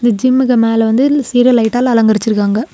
இந்த ஜிம்முக்கு மேல வந்து சீரியல் லைட்டால் அலங்கரிச்சிருக்காங்க.